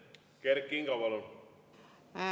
Kert Kingo, palun!